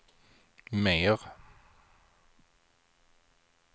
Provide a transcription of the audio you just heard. mer